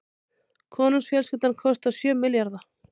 Konungsfjölskyldan kostar sjö milljarða